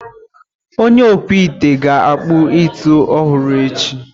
Onye okpụ ite ga akpụ ite ọhụrụ echi.